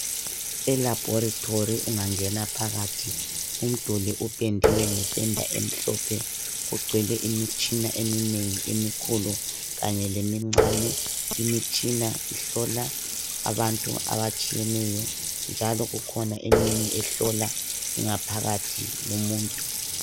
Elabhorithori ungangena phakathi umduli upendiwe ngependa emhlophe. Kugcwele imitshina eminengi emikhulu kanye lemincane. Imitshina ihlola abantu abatshiyeneyo, njalo kukhona eminye ehlola ingaphakathi yomuntu.